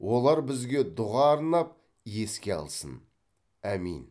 олар бізге дұға арнап еске алсын әмин